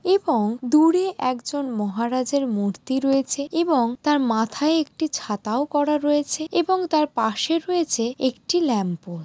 এবং দূরে একজন মহারাজের মূর্তি রয়েছে এবং তার মাথায় একটি ছাতাও করা রয়েছেএবং তার পাশে রয়েছে একটি ল্যাম্প ও।